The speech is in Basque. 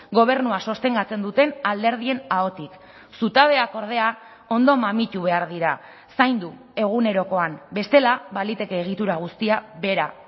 gobernua sostengatzen duten alderdien ahotik zutabeak ordea ondo mamitu behar dira zaindu egunerokoan bestela baliteke egitura guztia behera